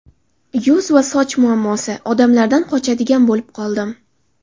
Yuz va soch muammosi: Odamlardan qochadigan bo‘lib qoldim.